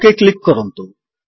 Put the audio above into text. okay click କରନ୍ତୁ